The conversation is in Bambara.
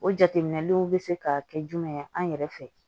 O jateminɛlenw bɛ se ka kɛ jumɛn ye an yɛrɛ fɛ